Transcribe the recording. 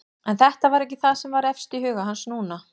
En þetta var ekki það sem var efst í huga hans núna.